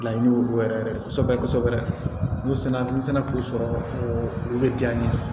Laɲini olu yɛrɛ kosɛbɛ kosɛbɛ n'u sera n'u sera k'u sɔrɔ o bɛ diya n ye